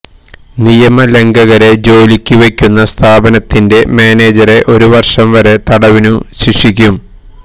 നിയമ ലംഘകരെ ജോലിക്കു വെയ്ക്കുന്ന സ്ഥാപനത്തിന്റെ മാനേജരെ ഒരു വർഷം വരെ തടവിനും ശിക്ഷിക്കും